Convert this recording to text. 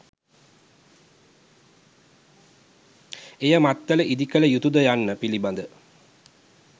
එය මත්තල ඉදිකළ යුතුද යන්න පිළිබඳ